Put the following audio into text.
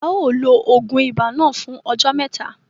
A ó lo oògùn ibà náà fún ọjọ́ mẹ́ta.